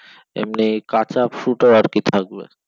এমনি কাঁচা fruit ও আর কি থাকবে